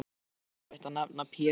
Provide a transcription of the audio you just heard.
Gerði svo erfitt að nefna Pésa.